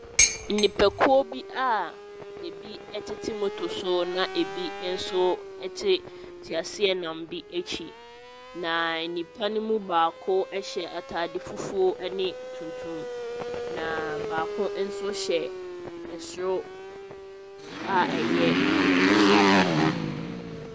Nnipakuo bi a bi te moto so na bi nso te teaseanam bi akyi. Na nnipa ne baako hyɛ ataade fufuo ne tuntum, na baako so hyɛ soro a ɛyɛ akokɔsradeɛ.